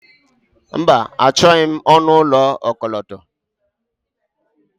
Mba, Achọghị m ọnụ ụlọ okọlọtọ